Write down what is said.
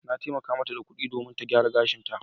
Na taimaka mata da kuɗi domin ta gyara gashinta.